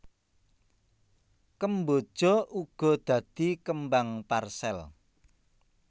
Kemboja uga dadi kembang parsèl